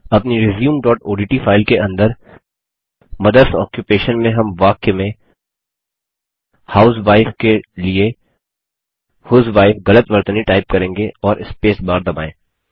अपनी resumeओडीटी फाइल के अंदर मदर्स आक्यूपेशन में हम वाक्य में हाउसवाइफ के लिए ह्यूजवाइफ गलत वर्तनी टाइप करेंगे और स्पेसबार दबाएँ